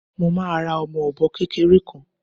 Mo máa ra ọmọ ọ̀bọ kékeré kan